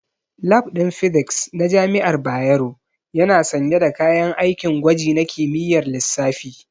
Lab ɗin Physics na jami'ar Bayero yana sanye da kayan aikin gwaji na kimiyyar lissafi.